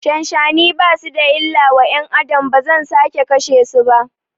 Shanshani basu da illa wa ƴan Adam, bazan sake kashe su ba